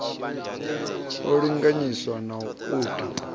a linganyiswa na u ta